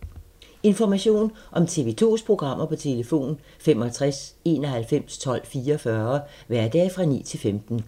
Information om TV 2's programmer: 65 91 12 44, hverdage 9-15.